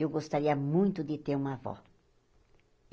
Eu gostaria muito de ter uma avó.